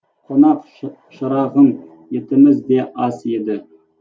қонақ шырағым етіміз де аз еді